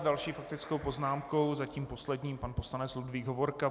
S další faktickou poznámkou, zatím poslední, pan poslanec Ludvík Hovorka.